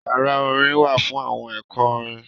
Yara orin wa fun awọn ẹkọ orin.